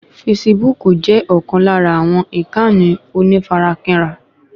Fesibúùkù jẹ́ ọ̀kan lára àwọn ìkànnì onífarakínra